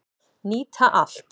Nýta allt